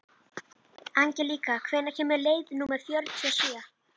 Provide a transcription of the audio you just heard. Angelíka, hvenær kemur leið númer fjörutíu og sjö?